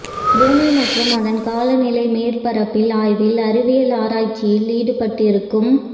பூமி மற்றும் அதன் காலநிலை மேற்பரப்பில் ஆய்வில் அறிவியல் ஆராய்ச்சியில் ஈடுபட்டிருக்கும்